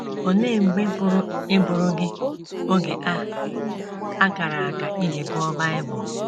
Olee mgbe pụrụ ịbụrụ gị oge a a kara aka iji gụọ Bible?